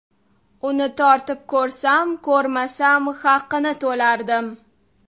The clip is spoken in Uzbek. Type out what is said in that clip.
Uni tortib ko‘rsam-ko‘rmasam haqini to‘lardim.